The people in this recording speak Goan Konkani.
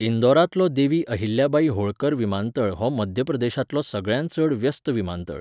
इंदौरांतलो देवी अहिल्याबाई होळकर विमानतळ हो मध्य प्रदेशांतलो सगळ्यांत चड व्यस्त विमानतळ.